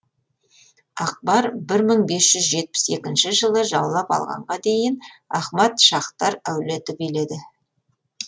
акбар бір мың бес жүз жетпіс екінші жылы жаулап алғанға дейін ахмад шаһтар әулеті биледі